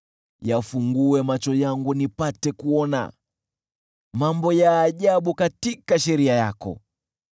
Yafungue macho yangu nipate kuona mambo ya ajabu katika sheria yako.